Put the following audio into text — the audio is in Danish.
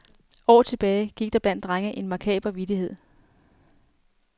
År tilbage gik der blandt drenge en makaber vittighed.